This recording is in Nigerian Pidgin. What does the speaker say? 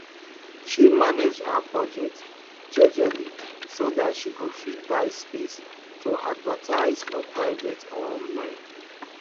she manage her budget jejely so that she go fit buy space to advertise for private online